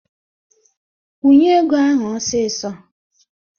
Kwunye ego ahụ ọsịsọ!